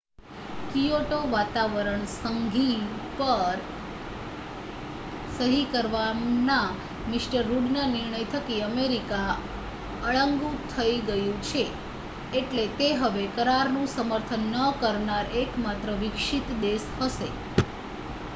Kyoto વાતાવરણ સંધિ પર સહી કરવાના મિ રુડના નિર્ણય થકી અમેરિકા અળગું થઈ ગયું છે એટલે તે હવે કરારનું સમર્થન ન કરનાર એકમાત્ર વિકસિત દેશ હશે